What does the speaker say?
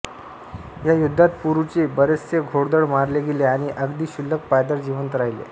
या युद्धात पुरूचे बरेचसे घोडदळ मारले गेले आणि अगदी क्षुल्लक पायदळ जिवंत राहिले